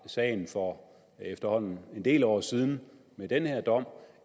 sagen for efterhånden en del år siden